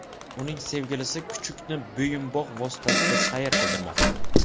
Uning sevgilisi kuchukni bo‘yinbog‘ vositasida sayr qildirmoqda.